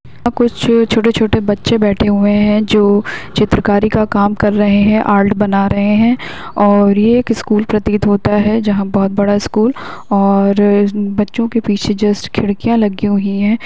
यहाँ कुछ छोटे छोटे बच्चे बैठे हुए हैं जो चित्रकारी का काम कर रहे हैं आर्ट बना रहे हैं और ये एक स्कूल प्रतीत होता है जहां बहुत बड़ा स्कूल और बच्चों के पीछे जस्ट खिड़कियाँ लगी हुई है।